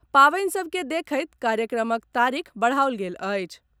पावनि सभ के देखैत कार्यक्रमक तारीख बढ़ाओल गेल अछि।